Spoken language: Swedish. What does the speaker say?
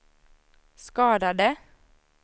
skadade